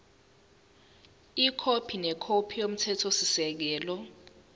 ikhophi nekhophi yomthethosisekelo